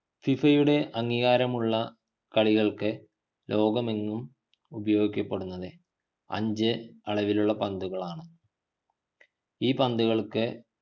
ഫിഫയുടെ അംഗീകാരമുള്ള കളികൾക്ക് ലോകമെങ്ങും ഉപയോഗിക്കപ്പെടുന്നത് അഞ്ചു അളവിലുള്ള പന്തുകളാണ് ഈ പന്തുകൾക്ക്